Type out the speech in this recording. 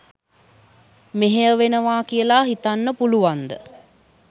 මෙහෙයවෙනවා කියලා හිතන්න පුළුවන්ද?